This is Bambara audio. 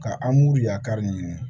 Ka an b'u yakari ɲini